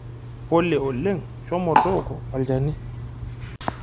pole oleng shomo tooki olchani.